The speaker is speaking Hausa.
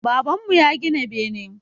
Baban mu ya gina bene